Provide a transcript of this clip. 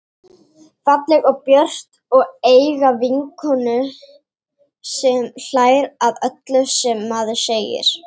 Falleg og björt og eiga vinkonu sem hlær að öllu sem maður segir.